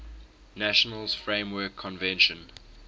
nations framework convention